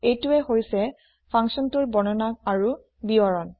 এইটোৱেই হৈছে functionটোৰ বৰ্ণনা আৰু বিৱৰণ